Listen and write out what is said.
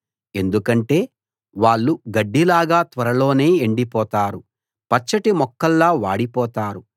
ఎందుకంటే వాళ్ళు గడ్డిలాగా త్వరలోనే ఎండిపోతారు పచ్చటి మొక్కల్లా వాడి పోతారు